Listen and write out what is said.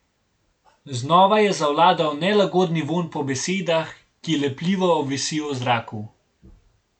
Znova je zavladal nelagodni vonj po besedah, ki lepljivo obvisijo v zraku.